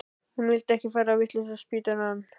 Hún vildi ekki fara á vitlausraspítalann.